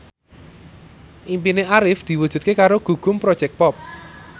impine Arif diwujudke karo Gugum Project Pop